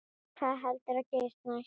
Hvað heldurðu að gerist næst?